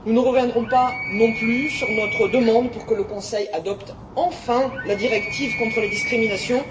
Nous ne reviendrons pas non plus sur notre demande que le Conseil adopte enfin la directive contre les discriminations.